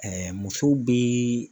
musow bɛ